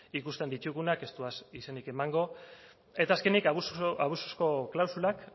ikusten ditugunak ez dudaz izenik emango eta azkenik abusuzko klausulak